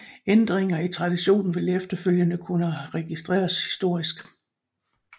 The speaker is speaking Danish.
Ændringer af traditionen vil efterfølgende kunne registreres historisk